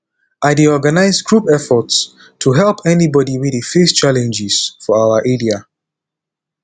i dey organize group efforts to help anybody wey dey face challenges for our area